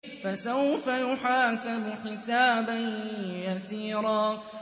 فَسَوْفَ يُحَاسَبُ حِسَابًا يَسِيرًا